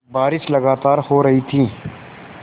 बारिश लगातार हो रही थी